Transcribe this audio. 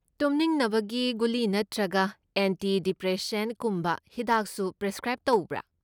ꯇꯨꯝꯅꯤꯡꯅꯕꯒꯤ ꯒꯨꯂꯤ ꯅꯠꯇ꯭ꯔꯒ ꯑꯦꯟꯇꯤ ꯗꯤꯄ꯭ꯔꯦꯁꯦꯟꯠꯁꯀꯨꯝꯕ ꯍꯤꯗꯥꯛꯁꯨ ꯄ꯭ꯔꯤꯁꯀ꯭ꯔꯥꯏꯕ ꯇꯧꯕ꯭ꯔꯥ?